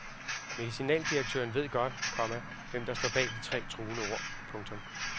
Medicinaldirektøren ved godt, komma hvem der står bag de tre truende ord. punktum